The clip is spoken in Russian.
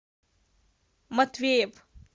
матвеев